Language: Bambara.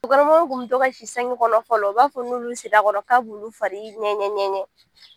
Muso kɔnɔmaw tun bɛ si sange kɔnɔ fɔlɔ u b'a fɔ n'olu sira a kɔrɔ k'a b'u fari ŋɛɲɛ-ŋɛɲɛ